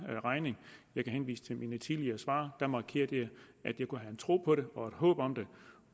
regning jeg kan henvise til mine tidligere svar der markerede jeg at jeg kunne have en tro på det og et håb om det